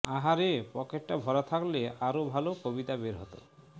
আহা রে পকেটটা ভরা থাকলে আরও ভাল কবিতা বের হত